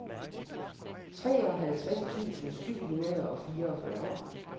treoghalvtreds tusind syv hundrede og fireogfyrre